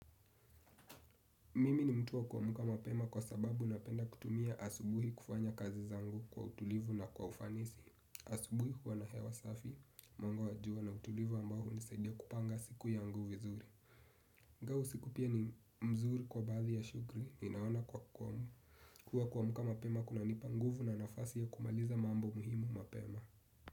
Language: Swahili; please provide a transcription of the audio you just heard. Mimi ni mtu wa kwamuka mapema kwa sababu napenda kutumia asubuhi kufanya kazi zangu kwa utulivu na kwa ufanisi. Asubuhi kuwa na hewa safi, mwango wajua na utulivu ambao hunisedia kupanga siku yangu vizuri ingao usiku pia ni mzuri kwa bathi ya shugri, ninaona kuwa kuwa kwa muka mapema kunanipa nguvu na nafasi ya kumaliza mambo muhimu mapema.